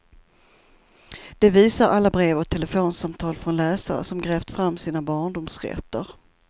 Det visar alla brev och telefonsamtal från läsare som grävt fram sina barndomsrätter.